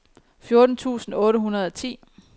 fjorten tusind otte hundrede og ti